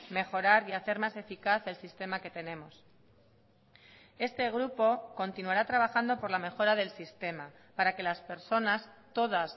mejorar y hacer más eficaz el sistema que tenemos este grupo continuará trabajando por la mejora del sistema para que las personas todas